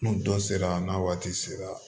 N'u dɔ sera n'a waati sera